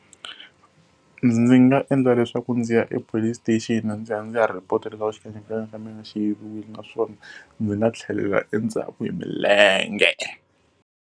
Ndzi nga endla leswaku ndzi ya e police station ndzi ya ndzi ya report-a xikanyakanya ka mina xi yiviwile naswona ndzi nga tlhelela endzhaku hi milenge.